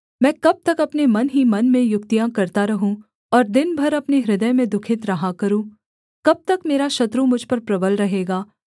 मैं कब तक अपने मन ही मन में युक्तियाँ करता रहूँ और दिन भर अपने हृदय में दुःखित रहा करूँ कब तक मेरा शत्रु मुझ पर प्रबल रहेगा